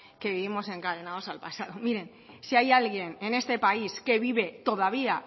que vivimos encadenados al pasado miren si hay alguien en este país que vive todavía